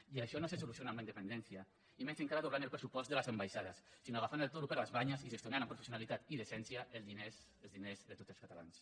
i això no se soluciona amb la independència i menys encara doblant el pressupost de les ambaixades sinó agafant el toro per les banyes i gestionant amb professionalitat i decència els diners de tots els catalans